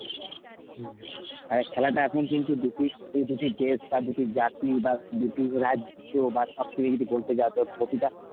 হুম আবার খেলাটা এখন কিন্তু দুটি, দুটি দেশ বা দুটি জাতি বা দুটি রাজ্য বা সবকিছু যদি বলতে যাও তো প্রতিটা